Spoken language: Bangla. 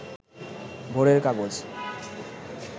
ভোরের কাগজ